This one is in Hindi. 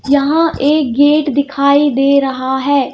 यहां एक गेट दिखाई दे रहा है.